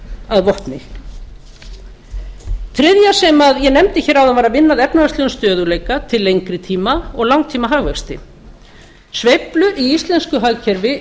að vopni þriðja sem ég nefndi hér áðan var að vinna að efnahagslegum stöðugleika til lengri tíma og langtímahagvexti sveiflur í íslensku hagkerfi